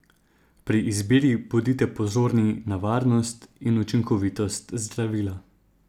Pri izbiri bodite pozorni na varnost in učinkovitost zdravila.